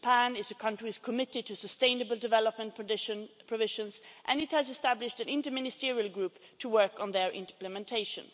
Japan is a country committed to sustainable development provisions and it has established an inter ministerial group to work on their implementation.